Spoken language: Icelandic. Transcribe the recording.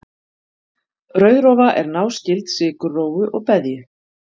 rauðrófa er náskyld sykurrófu og beðju